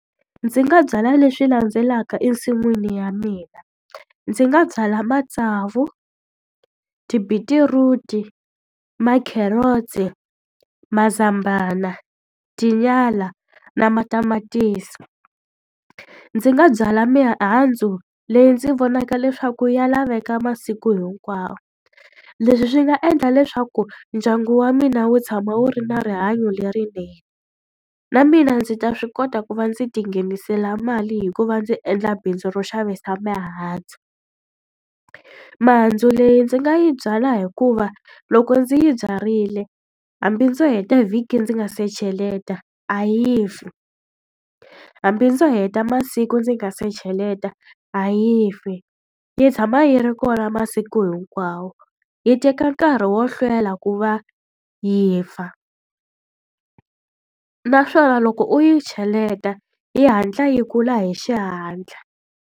Ndzi nga byala leswi landzelaka ensin'wini ya mina. Ndzi nga byala matsavu, tibitiruti, ma-carrot-i, mazambana, tinyala na matamatisi. Ndzi nga byala mihandzu leyi ndzi vonaka leswaku ya laveka masiku hinkwawo. Leswi swi nga endla leswaku ndyangu wa mina wu tshama wu ri na rihanyo lerinene, na mina ndzi ta swi kota ku va ndzi ti nghenisela mali hikuva ndzi endla bindzu ro xavisa mihandzu. Mihandzu leyi ndzi nga yi byala hikuva loko ndzi yi byarile, hambi ndzo heta vhiki ndzi nga se cheleta, a yi fi, hambi ndzo heta masiku ndzi nga se cheleta a yi fi. Yi tshama yi ri kona masiku hinkwawo, yi teka nkarhi wo hlwela ku va yi fa. Naswona loko u yi cheleta yi hatla yi kula hi xihatla.